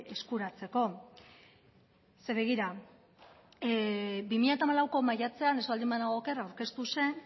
eskuratzeko ze begira bi mila hamalauko maiatzean ez baldin banago oker aurkeztu zen